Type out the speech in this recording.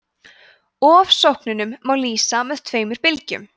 ofsóknunum má lýsa sem tveimur bylgjum